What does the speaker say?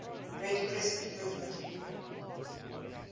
red crescent movement